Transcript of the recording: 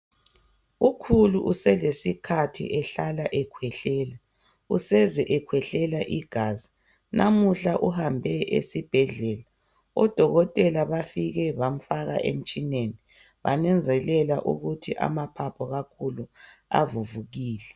Ukhulu uselesikhathi ehlala ekhwehlela useze ekhwehlela igazi namuhla uhambe esibhedlela odokotela bafike bamfaka emtshineni bananzelela ukuthi amaphaphu kakhulu avuvukile.